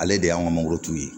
Ale de y'an ka mangorotu ye